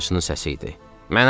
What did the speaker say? Bu, dəyirmançının səsi idi.